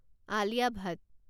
আলিয়া ভাত